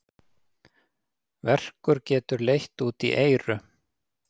Verkur getur leitt út í eyru.